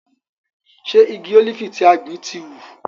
Ṣe igi ólífì tí a gbìn ti hù?